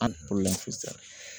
An bolo sisan